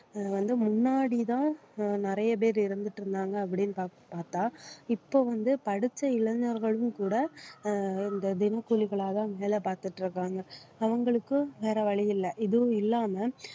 அஹ் வந்து முன்னாடிதான் அஹ் நிறைய பேர் இருந்துட்டு இருந்தாங்க அப்படின்னு பாத்~ பார்த்தா இப்போ வந்து படிச்ச இளைஞர்களும் கூட அஹ் இந்த தினக்கூலிகளாதான் வேலை பார்த்துட்டு இருக்காங்க அவங்களுக்கும் வேற வழி இல்லை இதுவும் இல்லாம